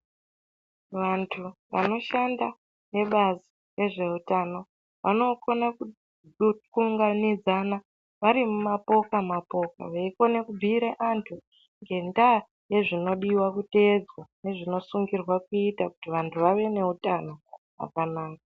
Vanthu vanoshanda nebazi rezveutano vanokona kuunganidzana vari mumapoka mapoka veikona kubhiira anthu ngenda yezvinodiwa kutedzwa nezvinosungirwa kuitwa kuti vanthu vave neutano wakanaka.